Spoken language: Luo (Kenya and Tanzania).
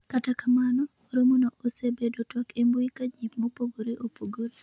kata kamano, romono osebedo twak e mbui ka jii mopogore opogore